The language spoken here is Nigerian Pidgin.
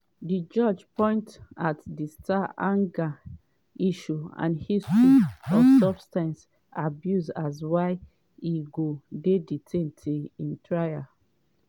di judge point at di star anger issues and history of substance abuse as why e go dey detained till im trial.